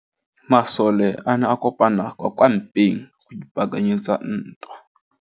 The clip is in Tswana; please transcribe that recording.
Masole a ne a kopane kwa kampeng go ipaakanyetsa ntwa.